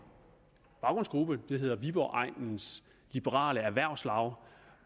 baggrundsgruppe der hedder viborg egnens liberale erhvervslaug